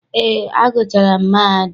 Eé, agụchaara m mahadum.